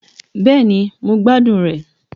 Bẹ́ẹ̀ni, mo gbadun re